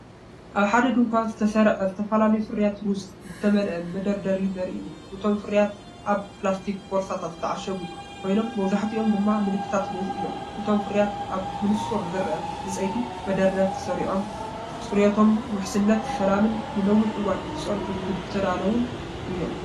ኣብ ሓደ ድኳን ዝተሰርዐ ዝተፈላለዩ ፍርያት ሩዝ ዝተመልአ መደርደሪ ዘርኢ እዩ። እቶም ፍርያትኣብ ፕላስቲክ ቦርሳታት ዝተዓሸጉ ኮይኖምመብዛሕትኦም ድማ ምልክታት ሩዝ እዮም። እቶም ፍርያት ኣብ ብንጹር ዝርአ ዕንጨይቲ መደርደሪታት ተሰሪዖም፣ ጽሬቶም ውሕስነት ዘለዎን ንነዊሕ እዋን ክጸንሑ ዝተዳለዉን እዮም።